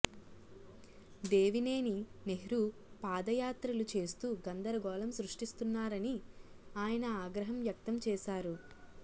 దేవినేని నెహ్రూ పాదయాత్రలు చేస్తూ గందరగోళం సృష్టిస్తున్నారని ఆయన ఆగ్రహం వ్యక్తం చేశారు